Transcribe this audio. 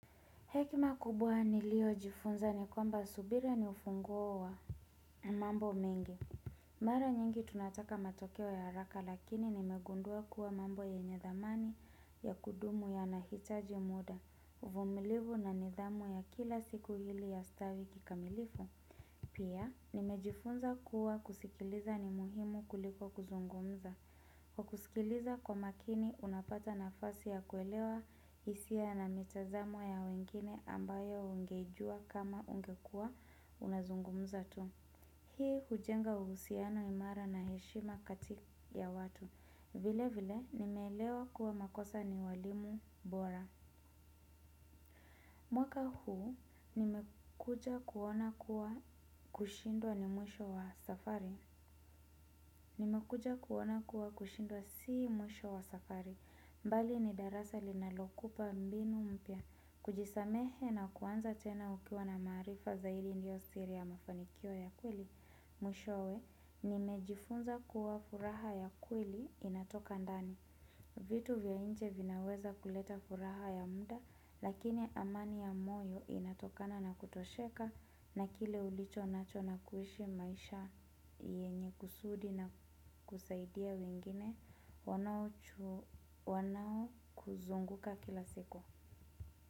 Hekima kubwa nilio jifunza ni kwamba subira ni ufunguo wa mambo mingi. Mara nyingi tunataka matokeo ya haraka lakini nimegundua kuwa mambo yenye thamani ya kudumu yanahitaji muda, uvumilivu na nidhamu ya kila siku ili ya stawi kikamilifu. Pia, nimejifunza kuwa kusikiliza ni muhimu kuliko kuzungumza. Kwa kusikiliza kwa makini, unapata nafasi ya kuelewa isia na mitazamo ya wengine ambayo ungejua kama ungekua unazungumza tu. Hii hujenga uhusiano imara na heshima kati ya watu. Vile vile, nimeelewa kuwa makosa ni walimu bora. Mwaka huu nimekuja kuona kuwa kushindwa ni mwisho wa safari. Nimekuja kuona kuwa kushindwa si mwisho wa safari. Mbali ni darasa linalokupa mbinu mpya. Kujisamehe na kuanza tena ukiwa na maarifa zaidi ndio siri ya mafanikio ya kweli. Mwishowe, nimejifunza kuwa furaha ya kweli inatoka ndani. Vitu vya nje vinaweza kuleta furaha ya muda lakini amani ya moyo inatokana na kutosheka na kile ulicho nacho na kuishi maisha yenye kusudi na kusaidia wengine wanao wanao kuzunguka kila siku.